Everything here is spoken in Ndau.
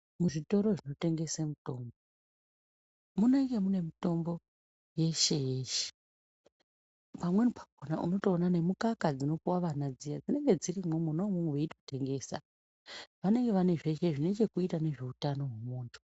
Zvitoro zvinotengese mitombo munenge mune mitombo yeshe yeshe pamweni pakona unotoona nemukaka dzinopuwa vana dziya dzinenge dzirimwo mwona umwomwo veitotengesa vanenge vaine zveshe zvinechekuita nezveutano hwemunhu.